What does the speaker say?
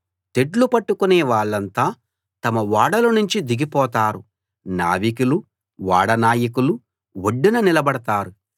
తెడ్లు పట్టుకునే వాళ్ళంతా తమ ఓడలనుంచి దిగిపోతారు నావికులూ ఓడనాయకులూ ఒడ్డున నిలబడతారు